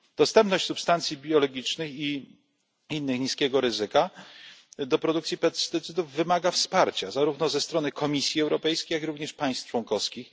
Dostępność substancji biologicznej i innej niskiego ryzyka do produkcji pestycydów wymaga wsparcia zarówno ze strony Komisji Europejskiej, jak i państw członkowskich.